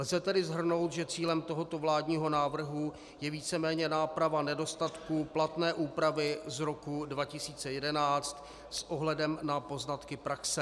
Lze tedy shrnout, že cílem tohoto vládního návrhu je víceméně náprava nedostatků platné úpravy z roku 2011 s ohledem na poznatky praxe.